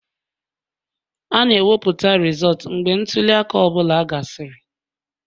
A na-ewepụta rizọọtu mgbe ntuli aka ọ bụla gasịrị